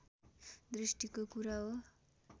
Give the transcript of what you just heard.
दृष्टिको कुरा हो